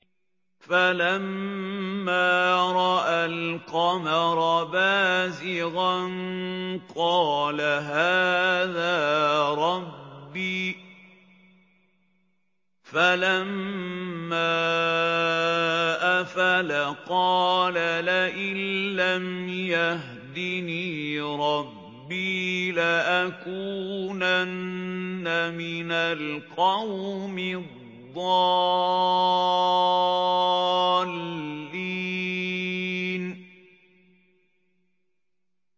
فَلَمَّا رَأَى الْقَمَرَ بَازِغًا قَالَ هَٰذَا رَبِّي ۖ فَلَمَّا أَفَلَ قَالَ لَئِن لَّمْ يَهْدِنِي رَبِّي لَأَكُونَنَّ مِنَ الْقَوْمِ الضَّالِّينَ